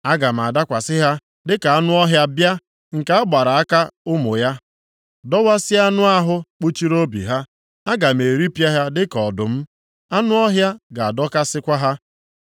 Aga m adakwasị ha dịka anụ ọhịa bịa nke a gbabara aka ụmụ ya, dọwasịa anụ ahụ kpuchiri obi ha aga m eripịa ha dịka ọdụm, anụ ọhịa ga-adọkasịkwa ha.